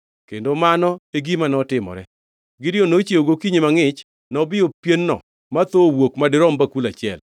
Kendo mano e gima notimore. Gideon nochiewo gokinyi mangʼich; nobiyo pien-no ma thoo owuok madirom bakul achiel.